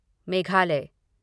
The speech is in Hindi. मेघालय